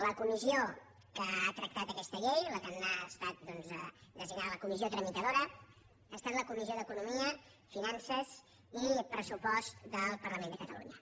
la comissió que ha tractat aquesta llei la que ha estat designada tramitadora ha estat la comissió d’economia finances i pressupost del parlament de catalunya